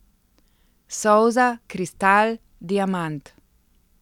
Solza, kristal, diamant!